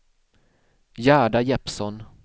Gerda Jeppsson